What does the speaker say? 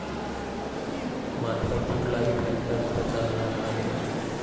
मात्र कुठलाही फॅक्टर इथं चालणार नाही.